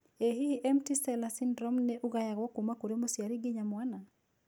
ĩ hihi empty sella syndrome nĩ ugayagwo kuma kũrĩ mũciari nginya mwana?